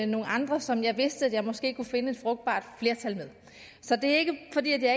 nogle andre som jeg vidste jeg måske kunne finde et frugtbart flertal med så det er ikke fordi jeg